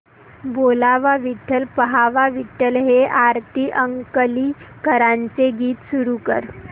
बोलावा विठ्ठल पहावा विठ्ठल हे आरती अंकलीकरांचे गीत सुरू कर